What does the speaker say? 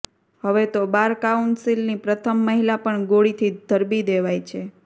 હવે તો bar council ની પ્રથમ મહિલા પણ ગોળીથી ધરબી દેવાય છે